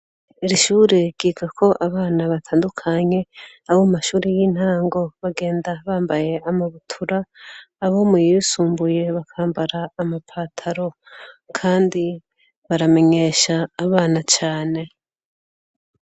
Iri shure ryigako abana batandukanye. Abo mu mashuri y'intango, bagenda bambaye amabutura. Abo mu yibisumbuye bakambara amapataro. Kandi baramenyesha abana cane.